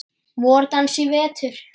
VorDans í vetur.